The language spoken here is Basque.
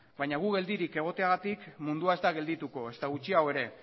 baino gu geldirik egoteagatik mundua ez da geldituko ezta gutxiago ere